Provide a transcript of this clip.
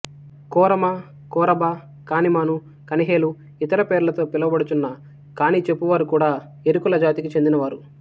కోరమకోరభకానిమానుకనిహేలు ఇతర పేర్లతో పిలువబడుచున్న కాణి చెప్పు వారు కూడా ఎరుకుల జాతికి చెందిన వారు